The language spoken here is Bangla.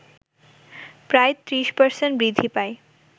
প্রায় ৩০% বৃদ্ধি পায়